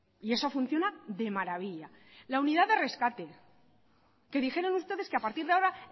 y eso funciona de maravilla la unidad de rescate que dijeron ustedes que a partir de ahora